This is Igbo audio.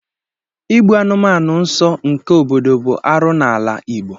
Igbu anụmanụ nso nke obodo bụ arụ n'ala Igbo.